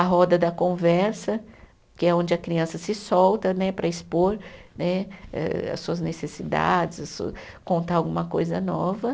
A roda da conversa, que é onde a criança se solta né para expor né eh as suas necessidades, contar alguma coisa nova.